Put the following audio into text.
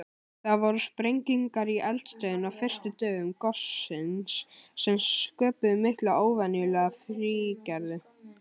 Það voru sprengingar í eldstöðinni á fyrstu dögum gossins sem sköpuðu hina óvenjulega fíngerðu ösku.